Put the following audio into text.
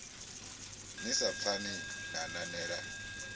ni sa pfani na nanela